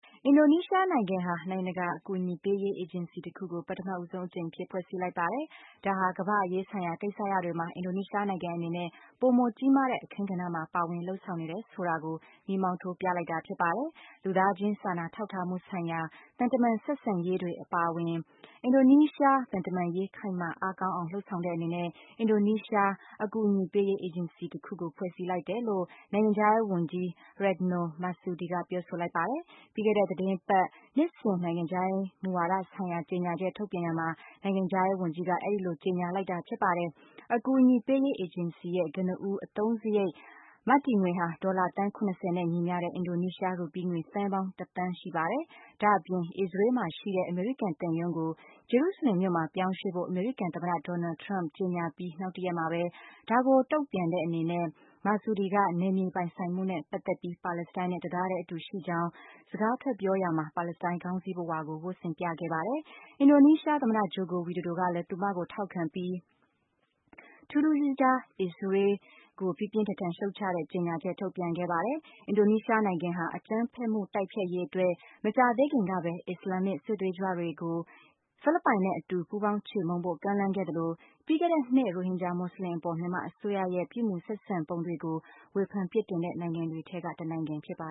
အင်ဒိုနီးရှားနိုင်ငံဟာ နိုင်ငံတကာအကူအညီပေးရေး အေဂျင်စီတခုကို ပထမဆုံးအကြိမ်အဖြစ် ဖွဲ့စည်းလိုက်ပါတယ်။ ဒါဟာ ကမ္ဘာ့အရေးဆိုင်ရာကိစ္စရပ်တွေမှာ အင်ဒိုနီးရှားနိုင်ငံအနေနဲ့ ပိုမိုကြီးမားတဲ့အခန်းကဏ္ဍမှာ ပါဝင်လုပ်ဆောင်နေတယ်ဆိုတာကို မီးမှောင်းထိုးပြလိုက်တာဖြစ်ပါတယ်။ လူသားခြင်းစာနာထောက်ထားမှုဆိုင်ရာ သံတမန် ဆက်ဆံရေးတွေအပါအဝင် အင်ဒိုနီးရှား သံတမန်ရေး ခိုင်မာအားကောင်းအောင် လုပ်ဆောင်တဲ့အနေနဲ့ အင်ဒိုနီးရှား အကူူအညီပေးရေး အင်ဂျင်စီတခုကို ဖွဲ့စည်းလိုက်တယ်လို့ နိုင်ငံခြားရေးဝန်ကြီး Retno Marsudi ပြောဆိုလိုက်ပါတယ်။ ပြီးခဲ့တဲ့သီတင်းပတ် နှစ်စဉ်နိုင်ငံခြားရေးမူဝါဒဆိုင်ရာ ကြေညာချက် ထုတ်ပြန်ရာမှာ နိုင်ငံခြားရေးဝန်ကြီး Retno Marsudi ကအဲဒီလို ကြေညာလိုက်တာပါ။ အကူအညီပေးရေး အေဂျင်စီရဲ့ ကနဦး အသုံးစရိတ် မတည်ငွေဟာ ဒေါ်လာ သန်း ၇၀ နဲ့ ညီမျှတဲ့ အင်ဒိုနီးရှားရူပီးငွေ သန်းပေါင်း တသန်းရှိပါတယ်။ ဒါ့အပြင် အီစ္စရေးမှာရှိတဲ့ အမေရိကန်သံရုံးကို ဂျေရုစလင်မြို့မှာ ပြောင်းရွှေ့ဖို့ အမေရိကန် သမ္မတ Donald Trump ကြေညာပြီး နောက်တရက်မှာပဲ ဒါကို တုံ့ပြန်တဲ့ အနေနဲ့ Marsudi က နယ်မြေပိုင်ဆိုင်မှုနဲ့ပတ်သက်ပြီး ပါလစ္စတိုင်းနဲ့ တသားတည်းအတူရှိကြောင်း စကားထွက်ပြောရာမှာ ပါလစ္စတိုင်း ခေါင်းစည်းပဝါကို ဝတ်ဆင်ပြသခဲ့ပါတယ်။ အင်ဒိုနီးရှား သမ္မတ ဂျိုကို ဝီဒိုဒို ကလည်း သူမကို ထောက်ခံပြီး ထူးထူးခြားခြား အစ္စရေးကို ပြင်းပြင်းထန်ထန် ရှုတ်ချတဲ့ ကြေညာချက် ထုတ်ပြန်ခဲ့ပါတယ်။ အင်ဒိုနီးရှားနိုင်ငံဟာ အကြမ်းဖက်မှုတိုက်ဖျက်ရေးအတွက် မကြာသေးခင်ကပဲ အစ္စလာမ်မစ် စစ်သွေးကြွတွေကို ဖိလစ်ပိုင်နဲ့ အတူ ပူးပေါင်းချေမှုန်းဖို့ ကမ်းလှမ်းခဲ့သလို၊ ပြီးခဲ့တဲ့နှစ်က ရိုဟင်ဂျာ မွတ်စလင်တွေအပေါ် မြန်မာအစိုးရရဲ့ ပြုမူဆက်ဆံပုံတွေကို ဝေဖန်ပြစ်တင်တဲ့ နိုင်ငံတွေထဲက တနိုင်ငံဖြစ်ပါ